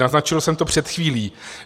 Naznačil jsem to před chvílí.